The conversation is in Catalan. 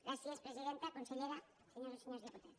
gràcies presidenta consellera senyores i senyors diputats